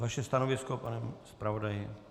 Vaše stanovisko, pane zpravodaji?